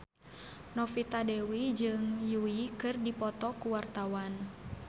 Novita Dewi jeung Yui keur dipoto ku wartawan